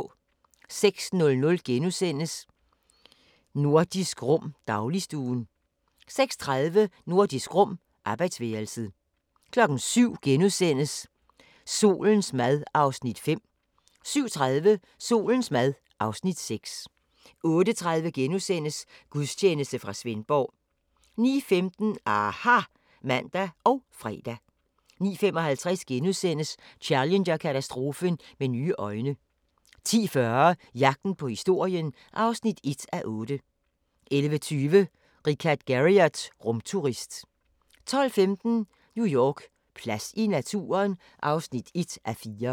06:00: Nordisk Rum - dagligstuen * 06:30: Nordisk Rum - arbejdsværelset 07:00: Solens mad (Afs. 5)* 07:30: Solens mad (Afs. 6) 08:30: Gudstjeneste fra Svendborg * 09:15: aHA! (man og fre) 09:55: Challenger-katastrofen med nye øjne * 10:40: Jagten på historien (1:8) 11:20: Richard Garriott – rumturist 12:15: New York: Plads til naturen? (1:4)